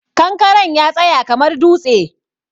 Kankaren ya tsaya kamar dutse.